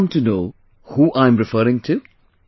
Did you come to know who am I referring to